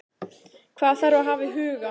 Hvað þarf að hafa í huga?